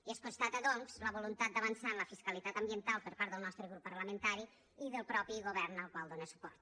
i es constata doncs la voluntat d’avançar en la fiscalitat ambiental per part del nostre grup parlamentari i del mateix govern al qual dóna suport